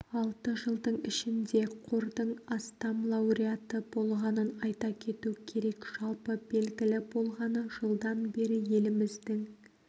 алты жылдың ішінде қордың астам лауреаты болғанын айта кету керек жалпы белгілі болғаны жылдан бері еліміздің